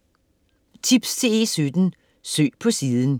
Tips til E17: Søg på siden